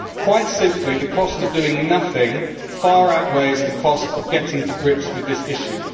Quite simply, the cost of doing nothing far outweighs the cost of getting to grips with this issue.